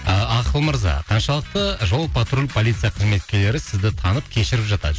а ақыл мырза қаншалықты жол патруль полиция қызметкерлері сізді танып кешіріп жатады